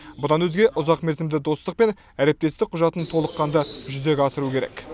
бұдан өзге ұзақмерзімді достық пен әріптестік құжатын толыққанды жүзеге асыру керек